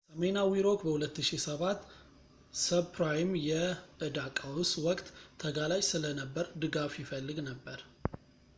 ሰሜናዊ ሮክ በ2007 ሰብፕራይም የዕዳ ቀውስ ወቅት ተጋላጭ ስለነበር ድጋፍ ይፈልግ ነበር